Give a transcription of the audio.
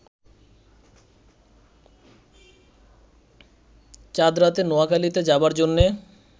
চাঁদরাতে নোয়াখালীতে যাবার জন্যে